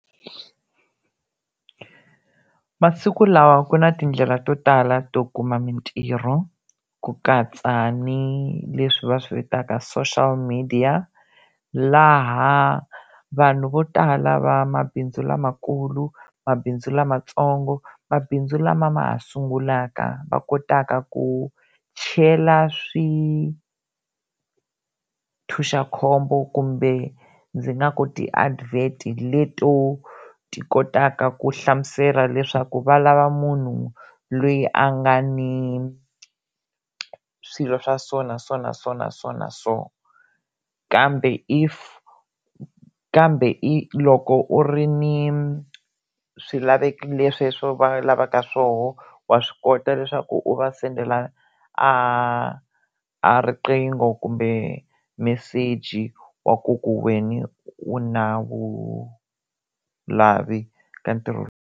Masiku lawa ku na tindlela to tala to kuma mintirho ku katsa ni leswi va swi vitaka social midiya laha vanhu vo tala va mabindzu lamakulu, mabindzu lamatsongo, mabindzu lama ma ha sungulaka va kotaka ku chela swithuxakhombo kumbe ndzi nga ku ti-advert-i leto ti kotaka ku hlamusela leswaku va lava munhu loyi a nga ni swilo swa so na so na so na so na so kambe if kambe i loko u ri ni swilaveko sweswo va lavaka swoho wa swi kota leswaku u va sendela a a riqingho kumbe meseji wa ku ku wena u na vu lavi ka ntirho.